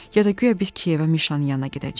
Ya da guya biz Kiyevə Mişanın yanına gedəcəyik.